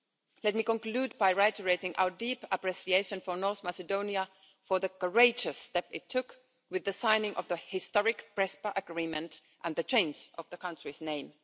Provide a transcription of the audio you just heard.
Let me conclude by reiterating our deep appreciation for North Macedonia, for the courageous step it took with the signing of the historic Prespa Agreement and the change of the country's name.